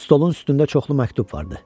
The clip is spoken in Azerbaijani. Stolun üstündə çoxlu məktub vardı.